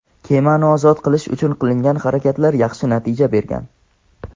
kemani "ozod qilish" uchun qilingan harakatlar yaxshi natija bergan.